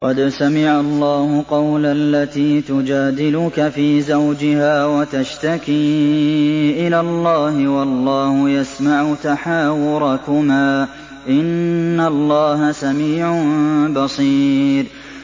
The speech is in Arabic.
قَدْ سَمِعَ اللَّهُ قَوْلَ الَّتِي تُجَادِلُكَ فِي زَوْجِهَا وَتَشْتَكِي إِلَى اللَّهِ وَاللَّهُ يَسْمَعُ تَحَاوُرَكُمَا ۚ إِنَّ اللَّهَ سَمِيعٌ بَصِيرٌ